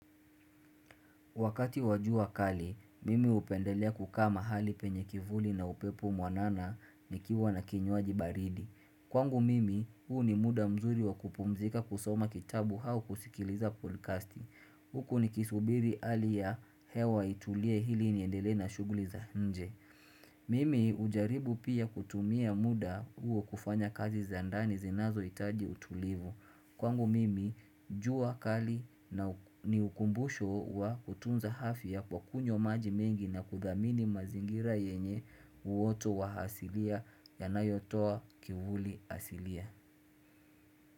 Wakati wa jua kali, mimi hupendelea kukaa mahali penye kivuli na upepo mwanana nikiwa na kinywaji baridi. Kwangu mimi, huu ni muda mzuri wa kupumzika kusoma kitabu au kusikiliza podcasti. Huku nikisubiri hali ya hewa itulie ili niendelee na shughuli za nje. Mimi hujaribu pia kutumia muda huu kufanya kazi za ndani zinazohitaji utulivu. Kwangu mimi jua kali na ni ukumbusho wa kutunza afya kwa kunywa maji mengi na kuthamini mazingira yenye uoto wa asilia yanayotoa kivuli asilia.